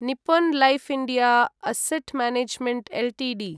Nippon life India asset management Ltd